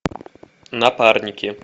напарники